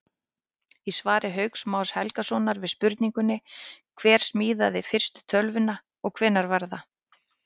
Í svari Hauks Más Helgasonar við spurningunni Hver smíðaði fyrstu tölvuna og hvenær var það?